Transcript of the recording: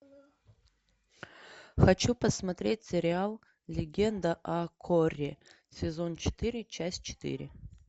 хочу посмотреть сериал легенда о корре сезон четыре часть четыре